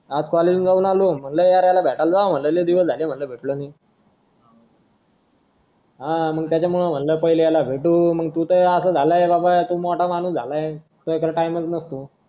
आज college ला जाऊन आलो म्हटलं यार याला भेटायला जाव म्हंटल लई दिवस झाले म्हटलं भेटलो नाही हा त्याच्यामुळे मग पहिले याला भेटू तू तर असा झाला बाबा तू मोठा माणूस झाला तुझ्याकडं तर time च नसतो